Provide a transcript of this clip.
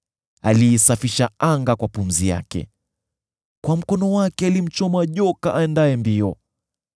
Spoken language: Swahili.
Aliisafisha anga kwa pumzi yake; kwa mkono wake alimchoma joka aendaye mbio.